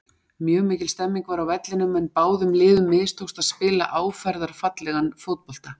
Mjög mikil stemning var á vellinum en báðum liðum mistókst að spila áferðarfallegan fótbolta.